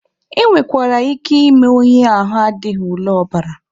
E nwekwara ike ime onye ahụ adịghị ule ọbara.